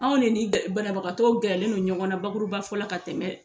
Anw ne ni banabagatɔ gɛrɛlen don ɲɔgɔn na bakurubafɔ la ka tɛmɛ.